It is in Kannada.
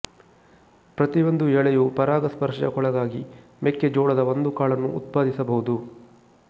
ಪ್ರತಿಯೊಂದು ಎಳೆಯು ಪರಾಗಸ್ಪರ್ಶಕ್ಕೊಳಗಾಗಿ ಮೆಕ್ಕೆ ಜೋಳದ ಒಂದು ಕಾಳನ್ನು ಉತ್ಪಾದಿಸಬಹುದು